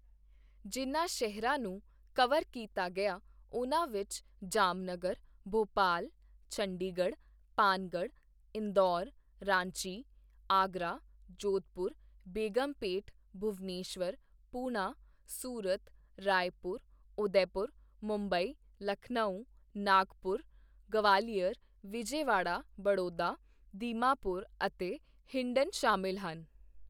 ਜਿਨ੍ਹਾਂ ਸ਼ਹਿਰਾਂ ਨੂੰ ਕਵਰ ਕੀਤਾ ਗਿਆ, ਉਨ੍ਹਾਂ ਵਿਚ ਜਾਮਨਗਰ, ਭੋਪਾਲ, ਚੰਡੀਗੜ੍ਹ, ਪਾਨਗੜ੍ਹ, ਇੰਦੌਰ, ਰਾਂਚੀ, ਆਗਰਾ, ਜੋਧਪੁਰ, ਬੇਗਮਪੈੱਟ, ਭੁਵਨੇਸ਼ਵਰ, ਪੂਨਾ, ਸੂਰਤ, ਰਾਏਪੁਰ, ਉਦੈਪੁਰ, ਮੁੰਬਈ, ਲਖਨਊ, ਨਾਗਪੁਰ, ਗਵਾਲੀਅਰ, ਵਿਜੇਵਾੜਾ, ਬੜੋਦਾ, ਦੀਮਾਪੁਰ ਅਤੇ ਹਿੰਡਨ ਸ਼ਾਮਿਲ ਹਨ।